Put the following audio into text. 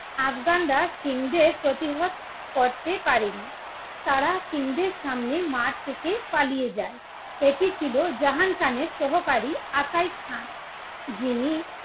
আফগানরা সিং দের প্রতিহত করতে পারেনি, তারা সিং দেড় সামনে মাঠ থেকে পালিয়ে যায়। এটি ছিল জাহাং খান এর সহকারী আকাই খাঁ, যিনি